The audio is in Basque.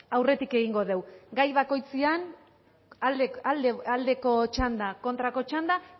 aurretik egingo dugu gai bakoitzean aldeko txanda kontrako txanda